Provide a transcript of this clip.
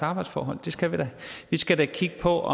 arbejdsforhold det skal vi da vi skal da kigge på